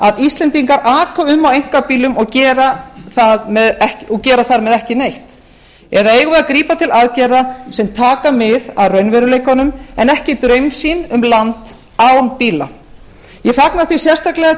að íslendingar aka um á einkabílum og gera þar þar með ekki neitt eða eigum við að grípa til aðgerða sem taka mið af raunveruleikanum en ekki draumsýn um land án bíla ég fagna því sérstaklega